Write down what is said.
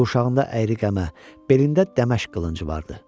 Qurşağında əyri qəmə, belində dəməşq qılıncı vardı.